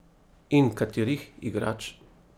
In katerih igrač?